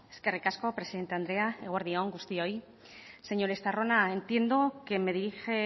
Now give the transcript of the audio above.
eskerrik asko presidente andrea eguerdi on guztioi señor estarrona entiendo que me dirige